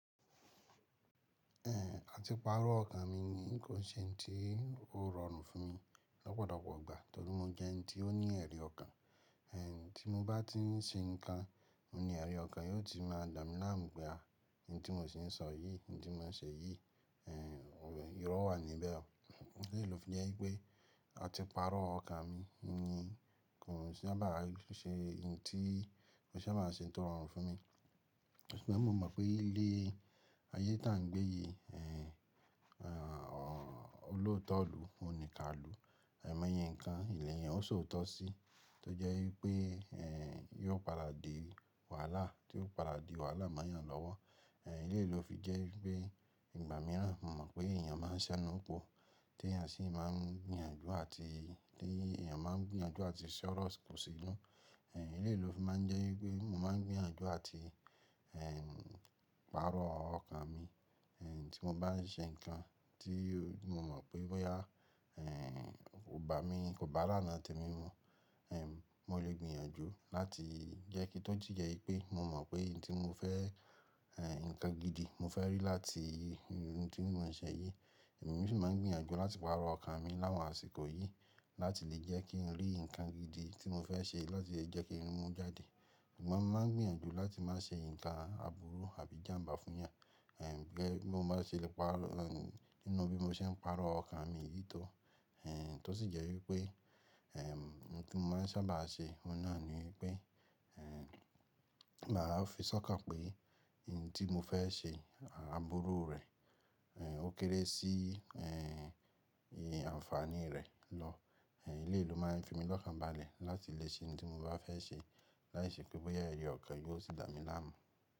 A ti parọ́ ọkàn mi ni kó n ṣe ohun tí ó rọrùn fún mi lọ́pọ̀lọpọ̀ ìgbà torí mo jẹ́ ẹni tí ó ní ẹ̀rí ọkàn tí mo bá tí ń ṣe nǹkan, ní ẹ̀rí ọkàn, yóò ti máa dà mí láàmú pé a, ohun tí mò ń ṣi sọ yìí, ohun tí mò ń ṣe yìí, ìrọ́ wà níbẹ̀ o. Èyí ló fi jẹ́ wípé a ti parọ́ ọkàn mi ni kó n sábà ṣe ntí kó sábà ń ṣe ohun tó rọrùn fún mi. Ṣùgbọ́n mo mọ̀ pé ilé ayé tá ń gbé yìí, ọlótọ̀ lu, òníká lu. Àìmọ́yẹ nǹkan, lẹ̀yan ó so ọ̀tọ̀ sí tó jẹ́ wípé, yóò padà di wàhálà tí yóò padà di wàhálà mọ́yàn lọ́wọ́. Ilé ló fi jẹ́ wípé ìgbà míràn mo mọ̀ pé èèyàn máa ń ṣẹ́nu pọ̀, tí èèyàn sì máa ń gbìyànjú àti tí èèyàn máa ń gbìyànjú àti se ọ̀rọ̀ kù sí inú. Eléyi ló fi máa ń jẹ́ wípé mo máa ń gbìyànjú àti, parọ́ ọkàn mi. Tí mo bá ń ṣe nǹkan tí mo mọ̀ pé bóyá, ọba mi kò bá lána tẹ mí mú, mo lè gbìyànjú láti jẹ́ kí tó jìyà wípé mo mọ̀ pé nǹkan tí mo fẹ́, nǹkan gidi mo fẹ́ rí láti ohun tí mo ń ṣe yìí, èmi sì máa ń gbìyànjú láti máa parọ́ ọkàn mi láwọn àsìkò yìí láti lè jẹ́ kí ń rí nǹkan gidi tí mo fẹ́ ṣe láti lè jẹ́ kí rimú jáde. Ṣùgbọ́n mo máa ń gbìyànjú láti má ṣe nǹkan àbúrú àbí ìjàǹbá fún èyàn. Bí bó má ṣe lè parọ́ nínú bí mo ṣe ń parọ́ ọkàn mi yìí tó. Tó sì jẹ́ wípé, nǹkan tí mo máa sábà ṣe, ohun náà ni wípé, màá fi sọ́kàn pé ohun tí mo fẹ́ ṣe àbúrú rẹ̀, ó kéré sí, iye àǹfààní rẹ̀ lọ. Eléyi ló máa ń fi mí lọ́kàn bá lẹ̀ láti lè ṣe ohun tí mo bá fẹ́ ṣe láìṣe pé bóyá ẹ̀rí ọkàn yóò sì dà mí láàmú.